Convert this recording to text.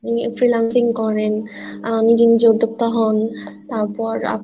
আপনি freelancing করেন নিজে নিজে উদ্যোক্তা হন তারপর আপনার